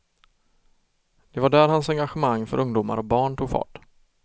Det var där hans engagemang för ungdomar och barn tog fart.